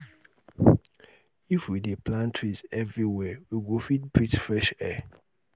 if we dey plant trees everywhere we go fit breathe fresh air